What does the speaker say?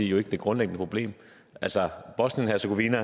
jo ikke det grundlæggende problem altså bosnien hercegovina